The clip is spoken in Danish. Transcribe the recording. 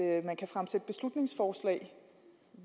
at man kan fremsætte beslutningsforslag